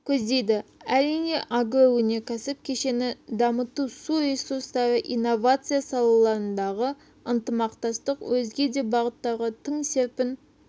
көздейді әрине агроөнеркәсіп кешенін дамыту су ресустары инновация салаларындағы ынтымақтастық өзге де бағыттарға тың серпін